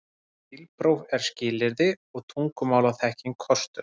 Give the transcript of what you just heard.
Bílpróf er skilyrði og tungumálaþekking kostur